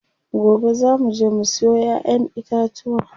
Gobe zaa muje mu siyo ƴaƴen itatuwa.